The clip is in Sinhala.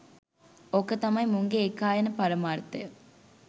ඕක තමයි මුන්ගේ ඒකායන පරමාර්ථය